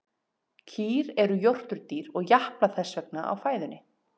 Kýr eru jórturdýr og japla þess vegna á fæðunni.